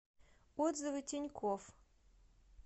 отзывы тинькофф